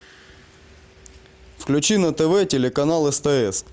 включи на тв телеканал стс